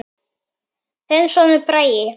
Þinn sonur, Bragi.